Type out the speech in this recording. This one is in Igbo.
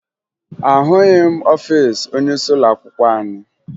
Ahụghị m ọfiisi onyeisi ụlọakwụkwọ anyị